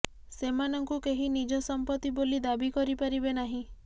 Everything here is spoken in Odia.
ସେମାନଙ୍କୁ କେହି ନିଜ ସମ୍ପତ୍ତି ବୋଲି ଦାବି କରିପାରିବେ ନାହିଁ